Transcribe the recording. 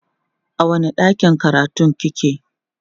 a wani ɗakin karatun kike?